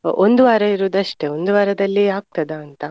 ಒಂದು ವಾರ ಇರುದಷ್ಟೇ ಒಂದು ವಾರದಲ್ಲಿ ಆಗ್ತದಾ ಅಂತ.